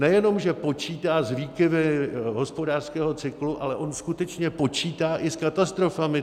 Nejenom že počítá s výkyvy hospodářského cyklu, ale on skutečně počítá i s katastrofami.